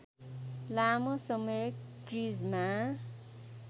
लामो समय क्रिजमा